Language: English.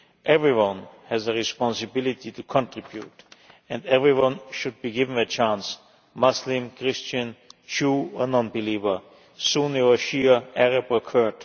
Everyone has a responsibility to contribute and everyone should be given a chance Muslim, Christian, Jew or non-believer, Sunni or Shia, Arab or Kurd.